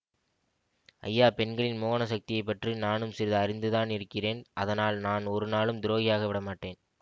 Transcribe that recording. ஐயா பெண்களின் மோகன சக்தியை பற்றி நானும் சிறிது அறிந்து தானிருக்கிறேன் அதனால் நான் ஒரு நாளும் துரோகியாக விடமாட்டேன்